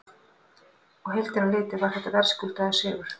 Á heildina litið var þetta verðskuldaður sigur.